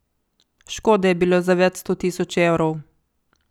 Škode je bilo za več sto tisoč evrov.